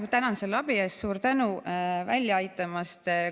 Ma tänan selle abi eest, suur tänu välja aitamast!